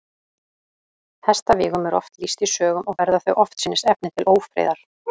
Hestavígum er oft lýst í sögum, og verða þau oftsinnis efni til ófriðar.